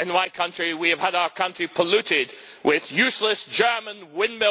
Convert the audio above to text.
in my country we have had our country polluted with useless German windmills and propellers all over our landscape.